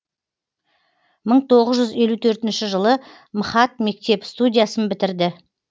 мың тоғыз жүз елу төртінші жылы мхат мектеп студиясын бітірді